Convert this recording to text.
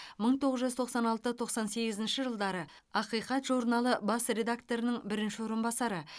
мың тоғыз жүз тоқсан алты тоқсан сегізінші жылдары ақиқат журналы бас редакторының бірінші орынбасары